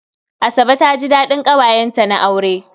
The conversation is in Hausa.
Asabe ta ji daɗin ƙawayenta na aure.